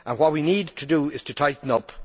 What we need to do is tighten up.